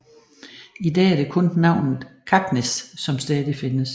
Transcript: I dag er det kun navnet Kaknäs som stadig findes